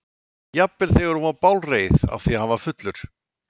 Jafnvel þegar hún var bálreið af því að hann var fullur.